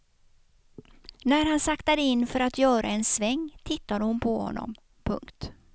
När han saktade in för att göra en sväng tittade hon på honom. punkt